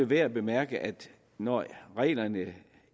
værd at bemærke at når reglerne